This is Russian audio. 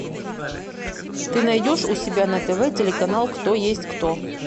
ты найдешь у себя на тв телеканал кто есть кто